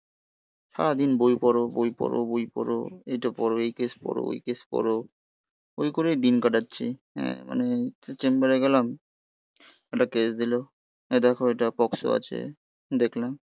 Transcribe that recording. সারাদিন বই পড়ো, বই পড়ো, বই পড়ো, এটা পড়ো, এই কেস পড়ো, এই কেস করো. ওই করেই দিন কাটাচ্ছি. হ্যাঁ. মানে চেম্বারে গেলাম. একটা কেস দিল. এই দেখো এটার বক্সও আছে. দেখলাম.